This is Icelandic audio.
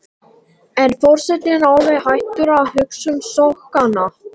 En forsetinn er alveg hættur að hugsa um sokkana.